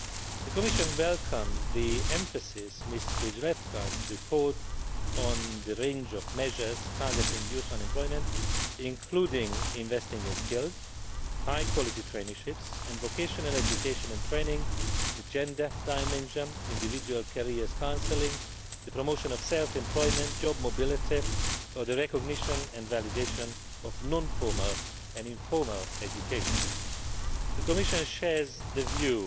The Commission welcomes the emphasis Ms Skrzydlewska's report puts on the range of measures targeting youth unemployment, including investing in skills, high quality traineeships and vocational education and training, the gender dimension, individual career counselling, the promotion of self employment, job mobility, and the recognition and validation of non formal and informal education. The Commission shares the